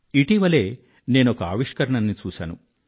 ఇటీవలే నేనొక ఆవిష్కరణని చూశాను